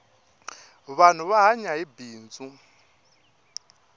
vanhu va hanya hi bindzu